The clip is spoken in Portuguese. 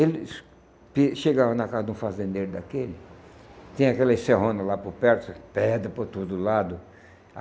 Ele chegava na casa de um fazendeiro daquele, tem aquelas serrona lá por perto, pedra por todo lado.